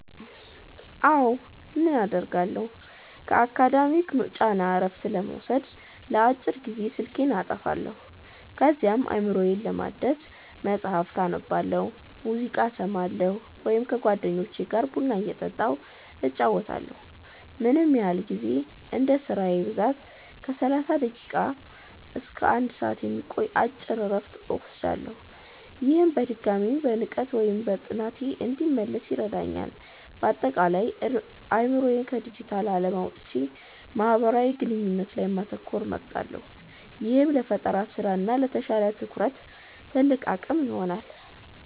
አዎ, ምን አደርጋለሁ? ከአካዳሚክ ጫና እረፍት ለመውሰድ ለአጭር ጊዜ ስልኬን አጠፋለሁ። ከዚያም አእምሮዬን ለማደስ መጽሐፍ አነባለሁ፣ ሙዚቃ እሰማለሁ ወይም ከጓደኞቼ ጋር ቡና እየጠጣሁ እጨዋወታለሁ። ምን ያህል ጊዜ? እንደ ስራዬ ብዛት ከ30 ደቂቃ እስከ 1 ሰዓት የሚቆይ አጭር እረፍት እወስዳለሁ። ይህም በድጋሚ በንቃት ወደ ጥናቴ እንድመለስ ይረዳኛል። ባጠቃላይ፦ አእምሮዬን ከዲጂታል ዓለም አውጥቼ ማህበራዊ ግንኙነት ላይ ማተኮርን እመርጣለሁ፤ ይህም ለፈጠራ ስራ እና ለተሻለ ትኩረት ትልቅ አቅም ይሆነኛል።